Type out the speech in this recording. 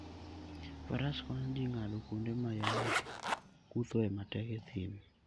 Faras konyo ji ng'ado kuonde ma yamo kuthoe matek e thim.